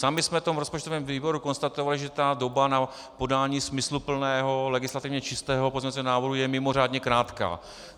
Sami jsme to v rozpočtovém výboru konstatovali, že ta doba na podání smysluplného legislativně čistého pozměňovacího návrhu je mimořádně krátká.